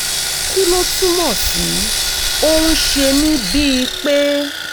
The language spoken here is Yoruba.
kí ló túmọ̀ sí? ó ń ṣe mí bíi pé